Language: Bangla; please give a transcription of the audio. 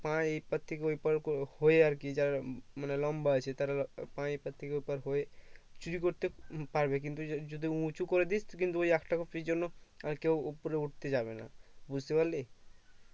পা এই পার থেকে ওই পার করে হয়ে আর কি যারা মানে লম্বা আছে তারা পা এপার থেকে ওপার হয়ে চুরি করতে পারবে কিন্তু য যদি উঁচু করে দিস কিন্তু ওই একটা কপির জন্য আর কেও উপরে উঠতে যাবে না বুজতে পারলি